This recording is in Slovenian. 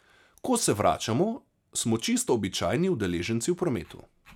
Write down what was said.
Ko se vračamo, smo čisto običajni udeleženci v prometu.